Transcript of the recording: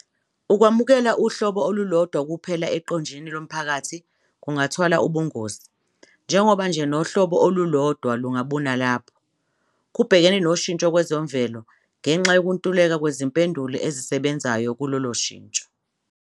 Ukwamukela uhlobo olulodwa kuphela eqenjini lomphakathi kungathwala ubungozi, njengoba nje nohlobo olulodwa lungabuna lapho kubhekene noshintsho kwezemvelo, ngenxa yokuntuleka kwezimpendulo ezisebenzayo kulolo shintsho.